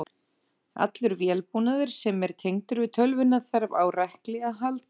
Allur vélbúnaður sem er tengdur við tölvuna þarf á rekli að halda.